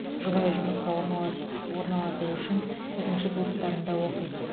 жұбайы жұмысқа орналаст орналасу үшін тігінші курстарында оқиды